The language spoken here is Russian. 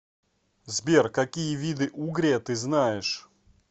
сбер какие виды угрия ты знаешь